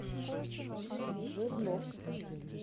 жирновск